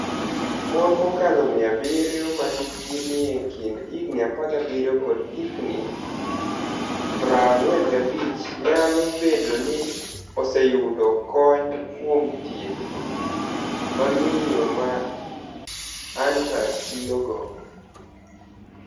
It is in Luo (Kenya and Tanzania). Moni mokalo 700 ma hikgi niie kinid 17 kod 45 niyalo bedo nii oseyudo koniy kuom thieth ma miyo ma Anitatiyogo.